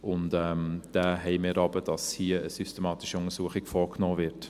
Diesen haben wir aber: dass hier eine systematische Untersuchung vorgenommen wird.